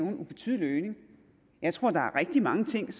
en ubetydelig øgning jeg tror at der er rigtig mange ting